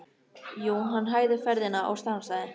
Jú, hann hægði ferðina og stansaði.